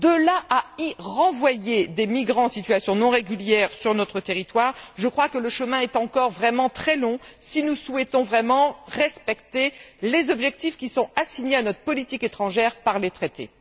De là à y renvoyer des migrants en situation non régulière sur notre territoire, je crois que le chemin est encore très long, si nous souhaitons vraiment respecter les objectifs qui sont assignés à notre politique étrangère par les traités.